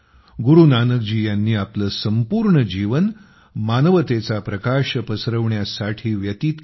गुरु नानकजी यांनी आपले संपूर्ण जीवनभर मानवतेचा प्रकाश पसरविण्यासाठी व्यतीत केले